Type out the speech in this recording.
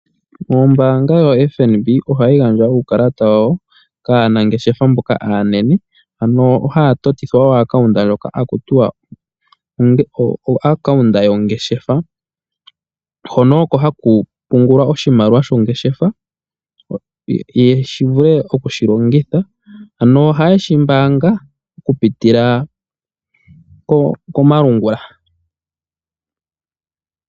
Ombaanga yotango yopashigwana (FNB) ohaya gandja uukalata kaanangeshefa mboka aanene, ohaya totithwa epandja ndyoka haku tiwa oyo ngeshefa. Ohaku pungulwa oshimaliwa shongeshefa, opo ya vule okushi longitha. Ohashi mbaangwa okupitila komalungula.